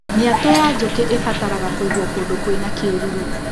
Mĩatũ ya njũkĩ ĩbataraga kũigwo kũndũ kwĩna kĩruru.